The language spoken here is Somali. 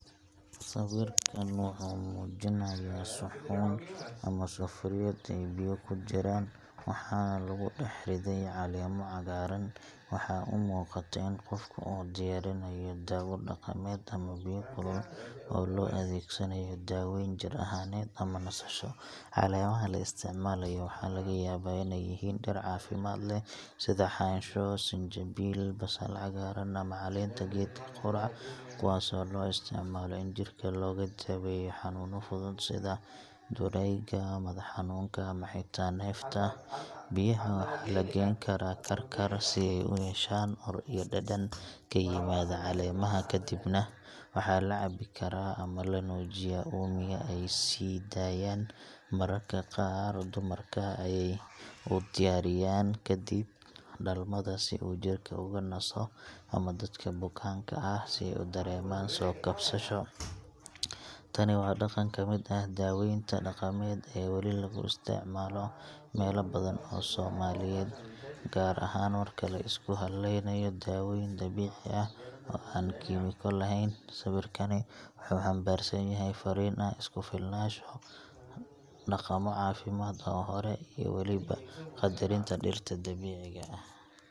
Sawirkan wuxuu muujinayaa suxuun ama sufuriyad ay biyo ku jiraan, waxaana lagu dhex riday caleemo cagaaran. Waxaa u muuqata in qofku uu diyaarinayo dawo dhaqameed ama biyo kulul oo loo adeegsanayo daweyn jir ahaaneed ama nasasho. Caleemaha la isticmaalayo waxaa laga yaabaa inay yihiin dhir caafimaad leh sida xansho, sanjabiil, basal-cagaaran, ama caleenta geedka qudhac, kuwaasoo loo isticmaalo in jirka looga daweeyo xanuunno fudud sida durayga, madax xanuunka, ama xitaa neefta. Biyaha waxaa la geyn karaa karkar si ay u yeeshaan ur iyo dhadhan ka yimaada caleemaha, kadibna waxaa la cabbi karaa ama la nuujiyaa uumiga ay sii daayaan. Mararka qaar, dumarka ayay u diyaariyaan kadib dhalmada si jirka uga naso ama dadka bukaan ah si ay u dareemaan soo kabasho. Tani waa dhaqan ka mid ah daweynta dhaqameed ee weli laga isticmaalo meelo badan oo Soomaaliyeed, gaar ahaan marka la isku halleynayo dawooyin dabiici ah oo aan kiimiko lahayn. Sawirkani wuxuu xambaarsan yahay farriin ah isku filnaansho, dhaqammo caafimaad oo hore, iyo weliba qadarinta dhirta dabiiciga ah.